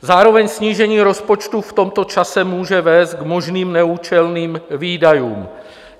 Zároveň snížení rozpočtu v tomto čase může vést k možným neúčelným výdajům.